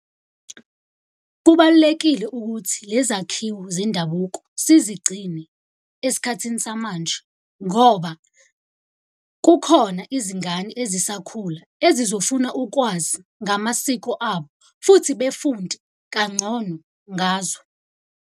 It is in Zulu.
Kubalulekile ukuthi lezakhiwo zendabuko sizigcine esikhathini samanje ngoba kukhona izingane ezisakhula engizofuna ukwazi ngamasiko abo, futhi befunde kangcono ngazo.